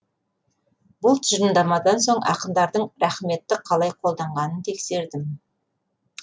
бұл тұжырымдамадан соң ақындардың рақметті қалай қолданғанын тексердім